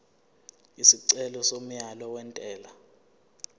isicelo somyalo wentela